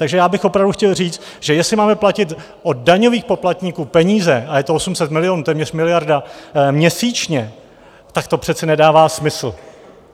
Takže já bych opravdu chtěl říct, že jestli máme platit od daňových poplatníků peníze, a je to 800 milionů, téměř miliarda měsíčně, tak to přece nedává smysl.